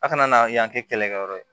A kana na yan kɛ kɛlɛkɛyɔrɔ ye